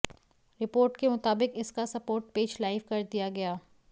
report के मुताबिक इसका सपोर्ट पेज लाइव कर दिया गया